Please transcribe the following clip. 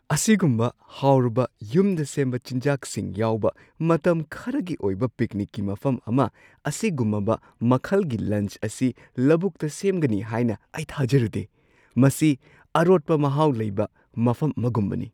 ꯑꯁꯤꯒꯨꯝꯕ ꯍꯥꯎꯔꯕ ꯌꯨꯝꯗ ꯁꯦꯝꯕ ꯆꯤꯟꯖꯥꯛꯁꯤꯡ ꯌꯥꯎꯕ ꯃꯇꯝ ꯈꯔꯒꯤ ꯑꯣꯏꯕ ꯄꯤꯛꯅꯤꯛꯀꯤ ꯃꯐꯝ ꯑꯃ – ꯑꯁꯤꯒꯨꯝꯕ ꯃꯈꯜꯒꯤ ꯂꯟꯆ ꯑꯁꯤ ꯂꯧꯕꯨꯛꯇ ꯁꯦꯝꯒꯅꯤ ꯍꯥꯏꯅ ꯑꯩ ꯊꯥꯖꯔꯨꯗꯦ! ꯃꯁꯤ ꯑꯔꯣꯠꯄ ꯃꯍꯥꯎ ꯂꯩꯕ ꯃꯐꯝ ꯑꯃꯒꯨꯝꯕꯅꯤ!